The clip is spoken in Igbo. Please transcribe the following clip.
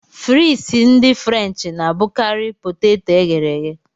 Frịsị ndị frenchị na-abụkarị poteto e ghere eghe.